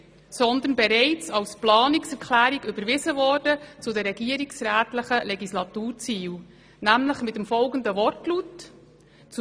Vielmehr wurde sie bereits als Planungserklärung zu den regierungsrätlichen Legislaturzielen mit folgendem Wortlaut überwiesen: